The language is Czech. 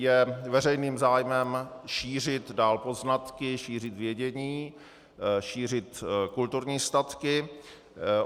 Je veřejným zájmem šířit dál poznatky, šířit vědění, šířit kulturní statky.